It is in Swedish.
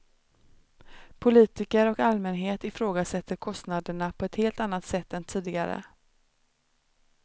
Politiker och allmänhet ifrågasätter kostnaderna på ett helt annat sätt än tidigare.